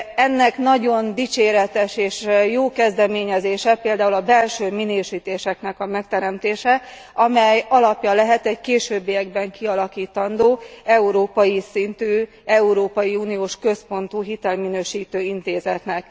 Ennek nagyon dicséretes és jó kezdeményezése például a belső minősítéseknek a megteremtése, amely alapja lehet egy későbbiekben kialakítandó európai szintű, európai uniós központú hitelminősítő intézetnek.